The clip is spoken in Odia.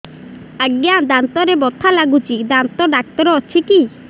ଆଜ୍ଞା ଦାନ୍ତରେ ବଥା ଲାଗୁଚି ଦାନ୍ତ ଡାକ୍ତର ଅଛି କି